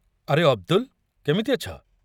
ଆରେ, ଅବ୍‌ଦୁଲ, କେମିତି ଅଛ?